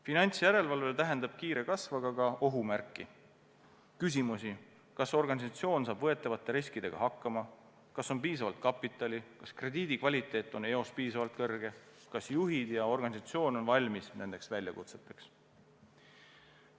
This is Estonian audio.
Finantsjärelevalve täheldab kiiret kasvu, aga ka ohumärki: võib küsida, kas organisatsioon saab võetavate riskidega hakkama, kas on piisavalt kapitali, kas krediidi kvaliteet on eos piisavalt kõrge, kas juhid ja organisatsioon on valmis nendeks väljakutseteks.